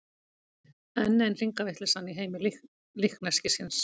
Enn ein hringavitleysan í heimi líkneskisins.